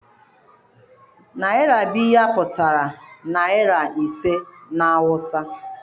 Naira biyar pụtara naira ise na awụsa.